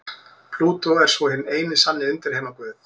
Plútó er svo hinn eini sanni undirheimaguð.